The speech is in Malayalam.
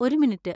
ഒരു മിനിറ്റ്.